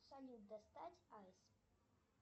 салют достать айс